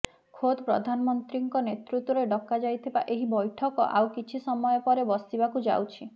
ଖୋଦ୍ ପ୍ରଧାନମନ୍ତ୍ରୀଙ୍କ ନେତୃତ୍ୱରେ ଡକା ଯାଇଥିବା ଏହି ବୈଠକ ଆଉ କିଛି ସମୟ ପରେ ବସିବାକୁ ଯାଉଛି